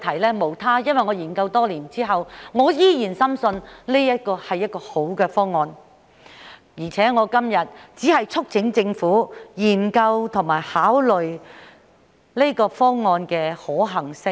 原因無他，因為我在研究多年後，依然深信這是一個好方案，而且今天只是促請政府研究和考慮這個方案的可行性。